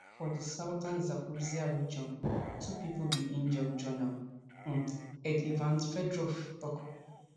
for di southern zaporizhzhia region two pipo bin injure regional um head ivan fedorov tok